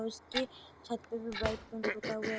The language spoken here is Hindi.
और उसके छत पे भी वाइट पेंट पोता हुआ है।